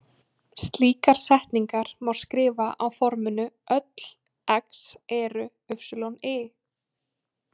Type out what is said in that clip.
Slíkar setningar má skrifa á forminu „Öll X eru Y“.